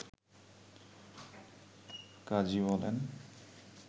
কাজী বলেন